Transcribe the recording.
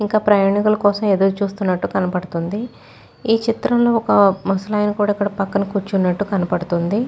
ఇంకా ప్రయాణికుల కోసం ఎదురు చూస్తున్నట్టు కనబడుతుంది ఈ చిత్రంలో ఒక ముసలాయన కూడా ఇక్కడ పక్కన కూర్చున్నట్టు కనపడుతుంది.